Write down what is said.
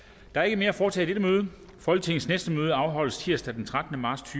der er ikke mere at foretage i dette møde folketingets næste møde afholdes på tirsdag den trettende marts